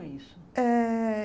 Como é isso? Eh